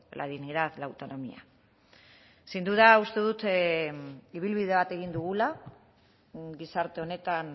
la dignidad la autonomía sin duda uste dut ibilbide bat egin dugula gizarte honetan